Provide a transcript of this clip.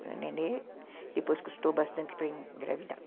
O nenê depois custou bastante para engravidar.